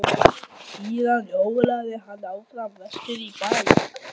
Síðan hjólaði hann áfram vestur í bæ.